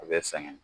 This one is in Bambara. A bɛ sɛgɛn